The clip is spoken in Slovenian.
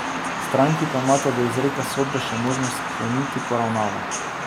Stranki pa imata do izreka sodbe še možnost skleniti poravnavo.